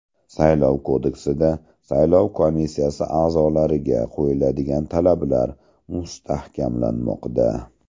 Saylov kodeksida saylov komissiyasi a’zolariga qo‘yiladigan talablar mustahkamlanmoqda.